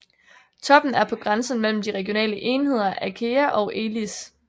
Toppen er på grænsen mellem de regionale enheder Achaea og Elis